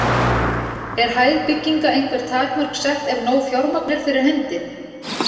Er hæð bygginga einhver takmörk sett ef nóg fjármagn er fyrir hendi?